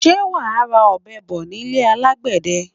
Sé wa ra ọ̀bẹ bo nílé alagbẹ̀dẹ?